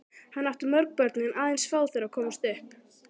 Hann átti mörg börn en aðeins fá þeirra komust upp.